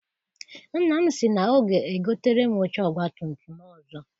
Nna m sị na ọ ga egotere m oche ọgbatumtum ọzọ.